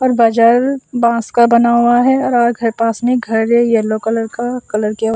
और बाजार बाँस का बना हुआ है और उधर में पास घर है येलो कलर का कलर किया--